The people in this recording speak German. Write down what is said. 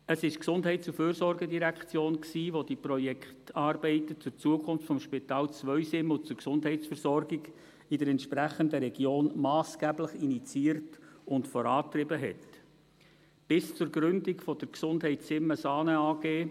Es war die GEF, welche die Projektarbeiten zur Zukunft des Spitals Zweisimmen und zur Gesundheitsversorgung in der entsprechenden Region massgeblich initiierte und vorantrieb, bis zur Gründung der «Gesundheit Simme Saane AG».